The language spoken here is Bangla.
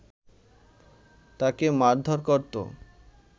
তাকে মারধর করতো